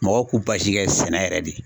Mɔgɔw k'u kɛ sɛnɛ yɛrɛ de